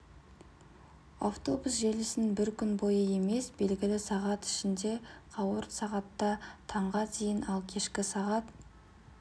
автобус желісін бір күн бойы емес белгілі сағат ішінде қауырт сағатта таңғы дейін ал кешкі сағат